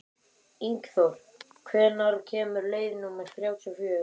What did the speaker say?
Ingþór, hvenær kemur leið númer þrjátíu og fjögur?